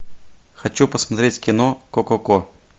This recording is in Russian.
хочу посмотреть кино ко ко ко